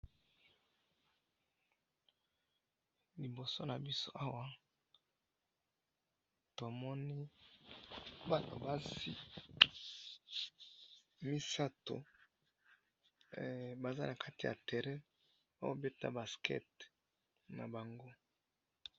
liboso na biso awa tomoni batu basi misato baza na kati ya terrain bazo beta basket na bango